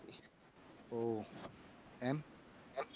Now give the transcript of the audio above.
ઓહ્હ એમ